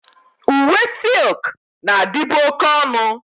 Uwe silk na-adịbu oke ọnụ.